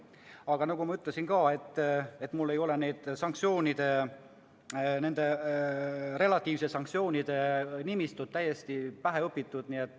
Aga nagu ma ütlesin ka, mul ei ole nende relatiivsete sanktsioonide nimistud täiesti pähe õpitud.